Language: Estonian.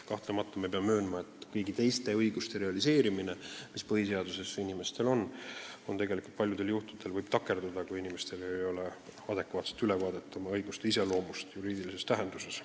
Paraku peame kahtlemata möönma, et ka kõigi teiste põhiseaduses sätestatud õiguste realiseerimine võib paljudel juhtudel takerduda, kui inimestel ei ole adekvaatset ülevaadet oma õiguste iseloomust juriidilises tähenduses.